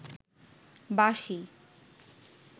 বাঁশি